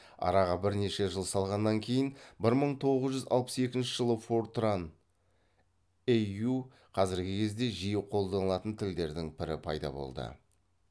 араға бірнеше жыл салғаннан кейін бір мың тоғыз жүз алпыс екінші жылы фортран іү қазіргі кезде жиі қолданылатын тілдердің бірі пайда болды